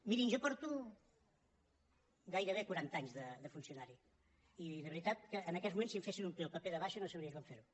mirin jo porto gairebé quaranta anys de funcionari i de veritat que en aquests moments si em fessin omplir el paper de baixa no sabria com fer ho